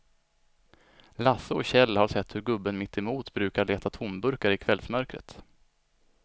Lasse och Kjell har sett hur gubben mittemot brukar leta tomburkar i kvällsmörkret.